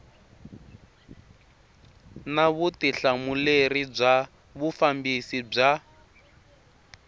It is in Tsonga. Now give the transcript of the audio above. na vutihlamuleri bya vufambisi bya